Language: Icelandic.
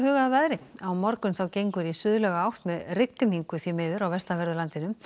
að veðri á morgun gengur í átt með rigningu á vestanverðu landinu